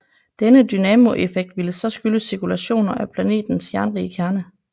Denne dynamoeffekt ville så skyldes cirkulationer af planetens jernrige kerne